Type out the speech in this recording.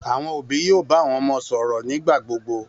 Àwọn òbí yóò bá àwọn ọmọ wọn sọ̀rọ̀ nígbà gbogbo.